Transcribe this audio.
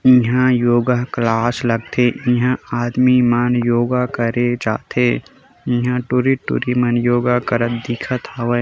इहां योगा क्लास लगथे इहां आदमी मन योगा करे जाथे इहां टुरी-टुरी मन योगा करत दिखत हवे।